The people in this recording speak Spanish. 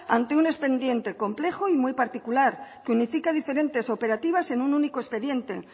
ante un expediente complejo y muy particular que unifica diferentes operativas en un único expediente